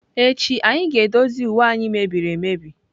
Echi anyị ga-edozi uwe anyị mebiri emebi.